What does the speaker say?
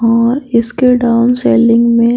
हां इसके down selling में --